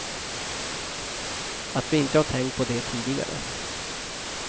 Att vi inte har tänkt på det tidigare.